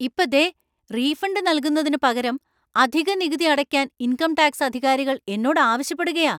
ഇപ്പ, ദേ, റീഫണ്ട് നൽകുന്നതിനുപകരം അധിക നികുതി അടയ്ക്കാൻ ഇൻകം ടാക്സ് അധികാരികൾ എന്നോട് ആവശ്യപ്പെടുകാ.